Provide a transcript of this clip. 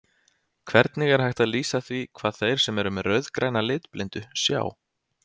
Hvernig er hægt að lýsa því hvað þeir sem eru með rauðgræna litblindu sjá?